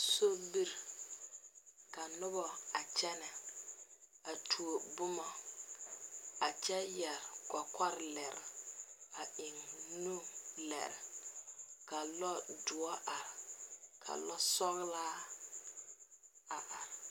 Sobiri ka nuba a kyene a tuo buma a kye yere kukolere a en nu lere ka lɔɔ duro arẽ ka lɔɔ sɔglaa a arẽ.